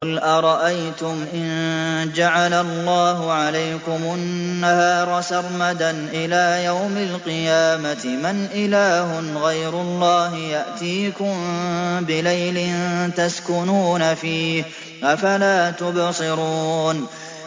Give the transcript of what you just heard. قُلْ أَرَأَيْتُمْ إِن جَعَلَ اللَّهُ عَلَيْكُمُ النَّهَارَ سَرْمَدًا إِلَىٰ يَوْمِ الْقِيَامَةِ مَنْ إِلَٰهٌ غَيْرُ اللَّهِ يَأْتِيكُم بِلَيْلٍ تَسْكُنُونَ فِيهِ ۖ أَفَلَا تُبْصِرُونَ